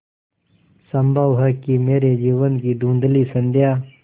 संभव है कि मेरे जीवन की धँुधली संध्या